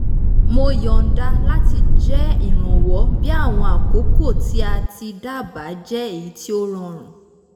mo yọ̀nda láti jẹ́ ìrànwọ́ bí àwọn àkókò tí a ti dá bá jẹ́ èyí tí ó rọrùn